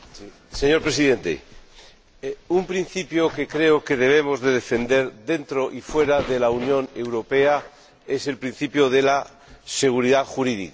Señor Presidente, un principio que creo que debemos defender dentro y fuera de la Unión Europea es el principio de la seguridad jurídica.